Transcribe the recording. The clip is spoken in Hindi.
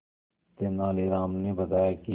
तेनालीराम ने बताया कि